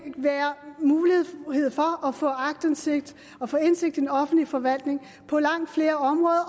være mulighed for at få aktindsigt og få indsigt i den offentlige forvaltning på langt flere områder